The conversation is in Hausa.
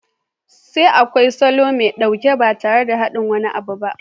Sai kawai salo mai sauƙi ba tare da haɗa wani abu ba.